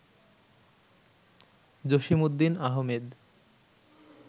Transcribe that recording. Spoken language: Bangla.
জসিমউদ্দিন আহমেদ